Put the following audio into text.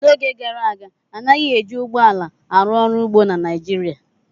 N' oge gara aga anaghị eji ụgbọ ala arụ ọrụ ugbo na Naịjirịa